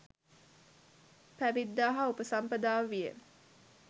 පැවිද්ද හා උපසම්පදාව විය.